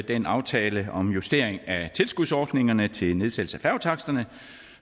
den aftale om justering af tilskudsordningerne til nedsættelse af færgetaksterne